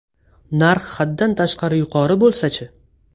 Narx haddan tashqari yuqori bo‘lsa-chi?